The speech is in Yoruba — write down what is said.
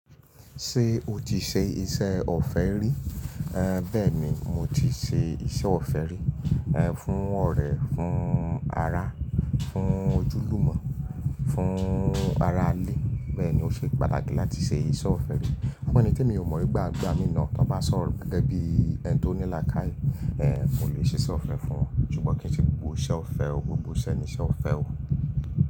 Ṣé o ti ṣe iṣẹ́ ọ̀fẹ́ rí? Ẹ̀ bẹ́ẹ̀ ni, mo ti ṣe iṣẹ́ ọ̀fẹ́ rí. Ẹ̀ fún ọ̀rẹ́, fún ará, fún ojúlùmọ̀, fún ara ilé. Bẹ́ẹ̀ ni ó ṣe pàtàkì láti ṣe iṣẹ́ ọ̀fẹ́ rí. Fún ẹni tí mi ò mọ̀ nígbà gbá, mina tí wọ́n bá sọ̀rọ̀ pẹ̀lú ẹbí ẹni tó ní làákàyè, ẹ̀ n ò lè ṣe iṣẹ́ ọ̀fẹ́ fún. Ṣùgbọ́n kí n sì gbọgbo iṣẹ́ ọ̀fẹ́ o, gbogbo iṣẹ́ ni iṣẹ́ ọ̀fẹ́ o.